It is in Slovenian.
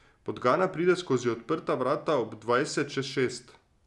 Podgana pride skozi odprta vrata ob dvajset čez šest.